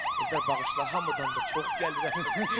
Eldar bağışla, hamıdan da çox gəlirəm.